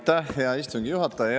Aitäh, hea istungi juhataja!